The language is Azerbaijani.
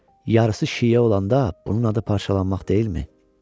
yarısı şiə olanda bunun adı parçalanmaq deyilmi?